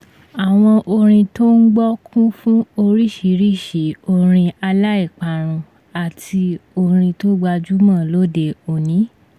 àwọn orin tó ń gbọ́ kú fún oríṣiríṣi orin aláìparun àti orin tó gbajúmọ̀ lóde òní